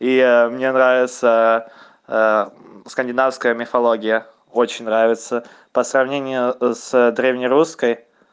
и я мне нравится скандинавская мифология очень нравится по сравнению с древнерусской